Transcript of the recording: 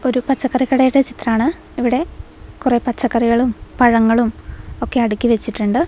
ഒരു പച്ചക്കറി കടയുടെ ചിത്രമാണ് ഇവിടെ കുറെ പച്ചക്കറികളും പഴങ്ങളും ഒക്കെ അടിക്കി വെച്ചിട്ടുണ്ട്.